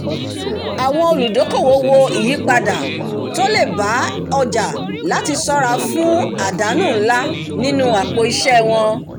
àwọn olùdókòwò wo ìyípadà tó lè bá ọjà láti ṣọ́ra fún àdánù ńlá nínú àpò iṣẹ́ wọn